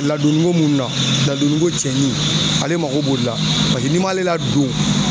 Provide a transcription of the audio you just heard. Ladonniko minnu na ladonniko cɛni ale mako b'o de la paseke n'i m'ale ladon